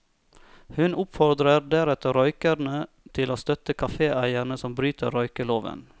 Hun oppfordrer deretter røykere til å støtte kaféeiere som bryter røykeloven.